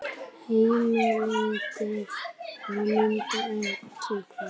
Heimildir og mynd Eddukvæði.